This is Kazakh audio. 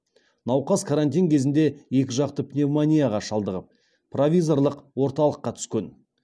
науқас карантин кезінде екіжақты пневмонияға шалдығып провизорлық орталыққа түскен